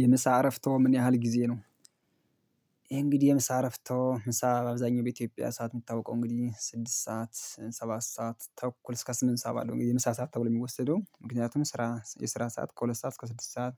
የምሳ አረፍቶ ምን ያህል ጊዜ ነው? ይሄ እንግዲህ የምሳ አረፍቶ ምሳ አብዛኛው በኢትዮጵያ ሰዓት የሚታውቀው እንግዲህ ስድስት ሰዓት ሰባት ሰዓት ተኩል እስከ ስምንት ሰዓት ባለው የምሳ ሰዓት ተብሎ የሚወሰደው ምክንያቱም ስራ የስራ ሰዓት ከሁለት ሰዓት እስከ ስድስት ሰዓት